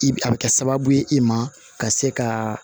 I bi a bɛ kɛ sababu ye i ma ka se ka